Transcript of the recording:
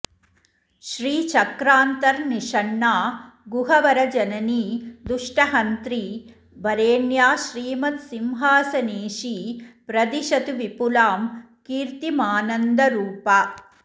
श्रीचक्रान्तर्निषण्णा गुहवरजननी दुष्टहन्त्री वरेण्या श्रीमत्सिंहासनेशी प्रदिशतु विपुलां कीर्तिमानन्दरूपा